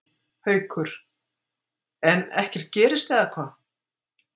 Haukur: En ekkert gerist eða hvað?